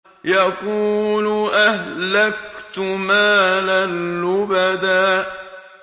يَقُولُ أَهْلَكْتُ مَالًا لُّبَدًا